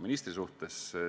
ministri suhtes kriitiline olema.